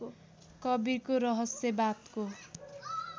कवीरको रहस्यवादको